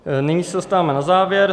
Nyní se dostáváme na závěr.